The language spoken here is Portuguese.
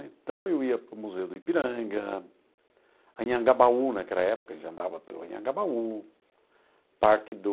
Então, eu ia para o Museu do Ipiranga, Anhangabaú, naquela época a gente andava pelo Anhangabaú, Parque do...